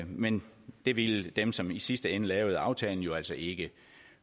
men det ville dem som i sidste ende lavede aftalen jo altså ikke